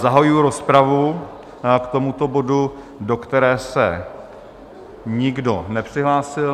Zahajuji rozpravu k tomuto bodu, do které se nikdo nepřihlásil.